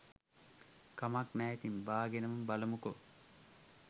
කමක් නෑ ඉතින් බාගෙනම බලමුකෝ